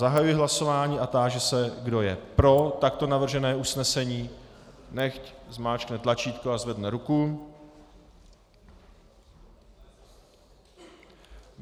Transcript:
Zahajuji hlasování a táži se, kdo je pro takto navržené usnesení, nechť zmáčkne tlačítko a zvedne ruku.